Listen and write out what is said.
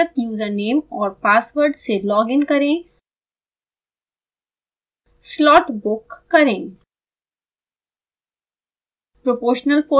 अपने पंजीकृत यूज़रनेम और पासवर्ड से लॉग इन करें slot book करें